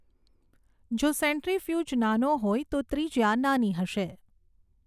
જો સેન્ટ્રીફ્યુજ નાનો હોય તો ત્રિજ્યા નાની હશે.